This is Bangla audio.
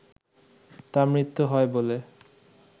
তার মৃত্যু হয় বলে